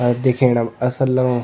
अ दिखेणम असल लगणु।